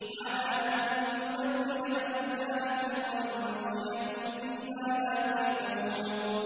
عَلَىٰ أَن نُّبَدِّلَ أَمْثَالَكُمْ وَنُنشِئَكُمْ فِي مَا لَا تَعْلَمُونَ